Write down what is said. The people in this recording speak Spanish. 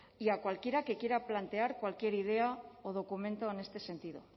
y a cualquiera que quiera plantear cualquier idea o documento en este sentido